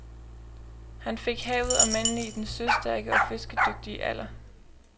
Han fik havet og mændene i den søstærke og fiskedygtige alder.